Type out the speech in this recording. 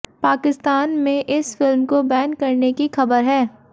पाकिस्तान में इस फिल्म को बैन करने की खबर है